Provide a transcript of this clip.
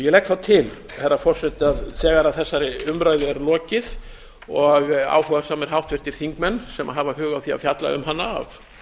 ég legg þá til herra forseti að þegar þessari umræðu er lokið og áhugasamir háttvirtir þingmenn sem hafa hug á því að fjalla um hana af